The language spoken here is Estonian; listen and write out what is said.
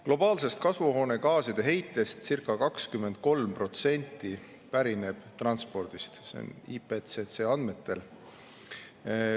Globaalsest kasvuhoonegaaside heitest circa 23% pärineb transpordist, see on IPCC andmetel.